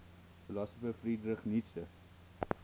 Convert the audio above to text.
philosopher friedrich nietzsche